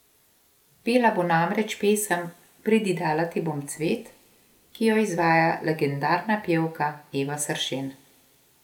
Pela bo namreč pesem Pridi dala ti bom cvet, ki jo izvaja legendarna pevka Eva Sršen.